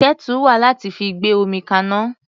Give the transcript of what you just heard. Kẹ́tù wà láti fi gbé omi kaná.